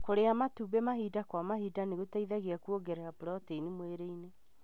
Kũria matumbĩ mahinda kwa mahinda nĩgũteithagia kũongerera proteini mwĩrĩini.